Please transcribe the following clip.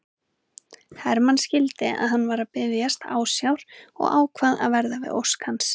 Hermann skildi að hann var að biðjast ásjár og ákvað að verða við ósk hans.